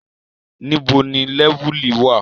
Níbo ni Lẹ́vùlì wà?